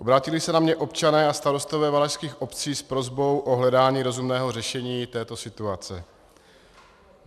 Obrátili se na mě občané a starostové valašských obcí s prosbou o hledání rozumného řešení této situace.